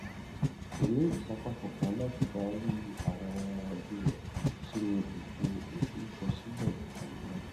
kò ní ìsapá kankan láti darí àwọn ọmọ ẹbí rẹ nínú ètò ìforúkọsílẹ ikanni náà